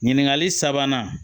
Ɲininkali sabanan